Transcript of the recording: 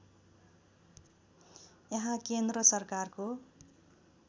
यहाँ केन्द्र सरकारको